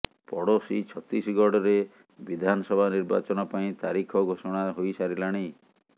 ପଡ଼ୋଶୀ ଛତିଶଗଡରେ ବିଧାନସଭା ନିର୍ବାଚନ ପାଇଁ ତାରିଖ ଘୋଷଣା ହୋଇ ସାରିଲାଣି